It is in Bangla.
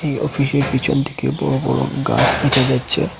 এই অফিসের পিছন থেকে বড় বড় গাছ দেখা যাচ্ছে।